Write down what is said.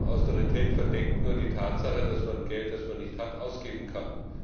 Austerität verdeckt nur die Tatsache, dass man Geld, das man nicht hat, ausgeben kann.